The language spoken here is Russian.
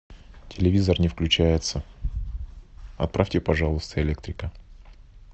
телевизор не включается отправьте пожалуйста электрика